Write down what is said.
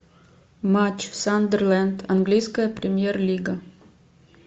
матч сандерленд английская премьер лига